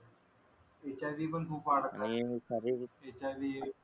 hiv खूप वाढत आहे hiv